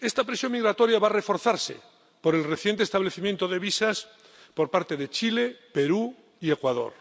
Esta presión migratoria va a reforzarse por el reciente establecimiento de visados por parte de Chile, Perú y Ecuador.